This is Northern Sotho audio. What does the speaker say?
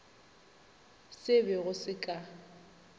se be go se ka